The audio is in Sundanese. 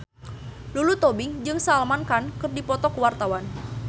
Lulu Tobing jeung Salman Khan keur dipoto ku wartawan